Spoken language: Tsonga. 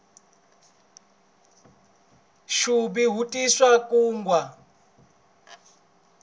ntsuvi wu tisa nkungwa